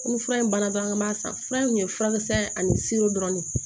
Ni fura in banna dɔrɔn an ka ma san fura in kun ye furakisɛ ani dɔrɔn de ye